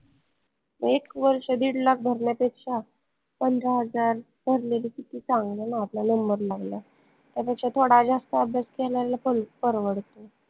एक वर्ष दीड lakh भरन्यापेक्षा पंधरा हजार भरलेले किती चांगले ना आपला number लागला त्यापेक्षा थोडा जास्त अभ्यास केलेला परवडतो